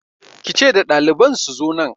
Ki ce da daliban su zo nan!